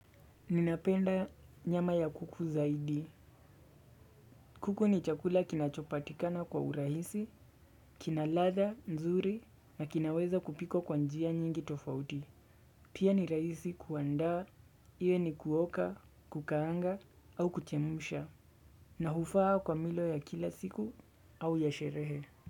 Ninapenda nyama ya kuku zaidi. Kuku ni chakula kinacho patikana kwa urahisi, kina ladha, nzuri na kinaweza kupikwa kwa njia nyingi tofauti. Pia ni rahisi kuanda, iwe ni kuoka, kukaanga au kuchemusha. Na hufaa kwa milo ya kila siku au ya sherehe.